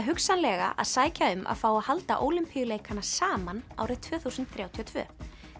hugsanlega að sækja um að fá að halda Ólympíuleikana saman árið tvö þúsund þrjátíu og tvö